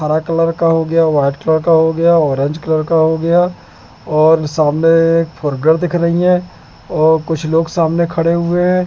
हरा कलर का हो गया व्हाइट कलर का हो गया ऑरेंज कलर का हो गया और सामने एक फोर व्हीलर दिख रही हैं और कुछ लोग सामने खड़े हुए हैं।